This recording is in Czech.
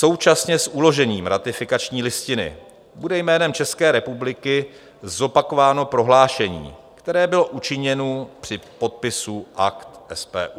Současně s uložením ratifikační listiny bude jménem České republiky zopakováno prohlášení, které bylo učiněno při podpisu Akt SPU.